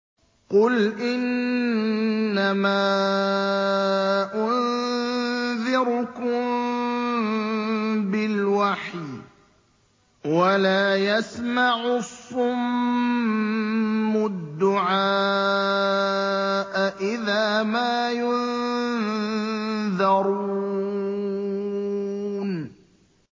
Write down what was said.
قُلْ إِنَّمَا أُنذِرُكُم بِالْوَحْيِ ۚ وَلَا يَسْمَعُ الصُّمُّ الدُّعَاءَ إِذَا مَا يُنذَرُونَ